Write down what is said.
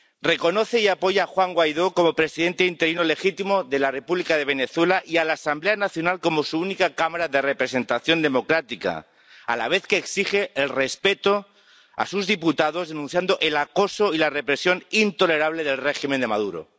Reconoce y apoya a Juan Guaidó como presidente interino legítimo de la República de Venezuela y a la Asamblea Nacional como su única cámara de representación democrática, a la vez que exige el respeto a sus diputados, denunciando el acoso y la represión intolerable del régimen de Maduro.